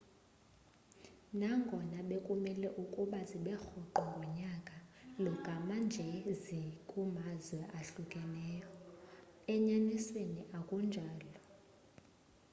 nangono bekumele ukuba zibe rhoqo ngonyaka lo gama nje zikumazwe awahlukahlukeneyo enyanisweni akunjalo